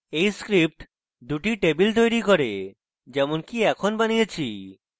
এই script দুটি table তৈরী করে যেমনকি এখন বানিয়েছি